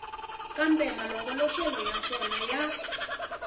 kambe malongoloxelo ya swona ya